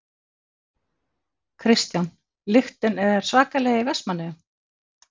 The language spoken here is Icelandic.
Kristján: Lyktin er svakaleg í Vestmannaeyjum?